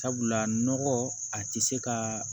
Sabula nɔgɔ a tɛ se ka